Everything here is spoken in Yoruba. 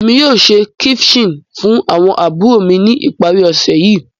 Emi yoo ṣe ceviche fun awọn aburo mi ni ipari osẹ yii.